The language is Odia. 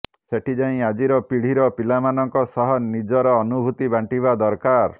ସେଠି ଯାଇ ଆଜିର ପିଢ଼ିର ପିଲାମାନଙ୍କ ସହ ନିଜର ଅନୁଭୂତି ବାଣ୍ଟିବା ଦରକାର